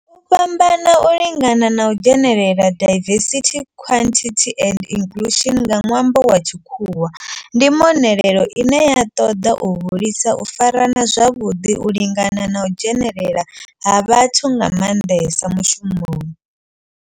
U fhambana, u lingana na u dzhenelela diversity, equity and inclusion nga nwambo lwa tshikhuwa ndi mbonelelo ine ya ṱoḓa u hulisa u farana zwavhuḓi, u lingana na u dzhenelela ha vhathu nga manḓesa mishumoni.